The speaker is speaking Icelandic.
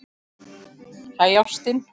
Hæ, ástin.